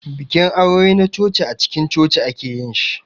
Bikin aure na coci acikin coci ake yin shi.